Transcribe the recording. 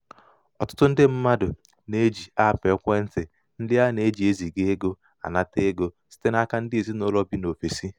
ọtụtụ ndị mmadụ na-eji aapụ ekwentị ndị a na-eji eziga ego anata ego site n'aka ndị ezinaụlọ bi n'ofesi.